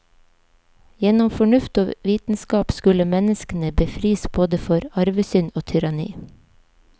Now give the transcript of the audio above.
Gjennom fornuft og vitenskap skulle menneskene befris både for arvesynd og tyranni.